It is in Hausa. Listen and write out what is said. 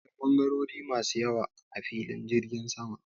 Akwai ɓangarori masu yawa a filin jirgin sama.